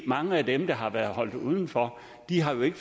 mange af dem der har været holdt udenfor har jo ikke